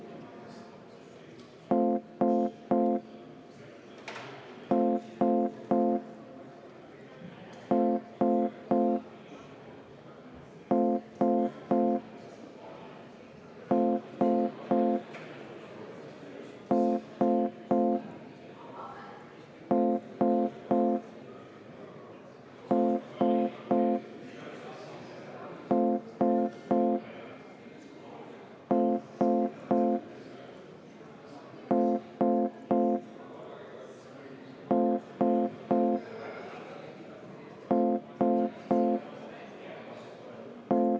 Igal inimesel või siis ka erakonna on olemas võimalus mõelda iseseisvalt.